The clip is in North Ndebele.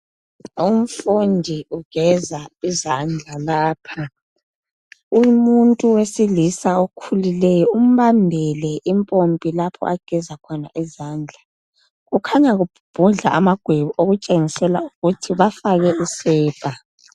Umfundi ugeza izandla lapha. Umuntu wesilisa okhulileyo, umbambele impompi lapha ageza khona izandla. Kukhanya kubhubhudla amagwebu. Okutshengisela ukuthi bafake isepa.